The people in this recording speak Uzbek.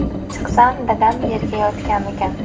Chiqsam, dadam yerda yotgan ekan.